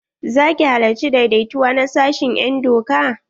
Za ki halarci daidaituwa na sashin en doka?